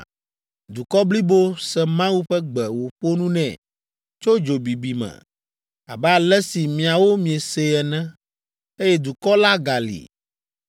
Dukɔ blibo se Mawu ƒe gbe wòƒo nu nɛ tso dzo bibi me, abe ale si miawo miese ene, eye dukɔ la gali!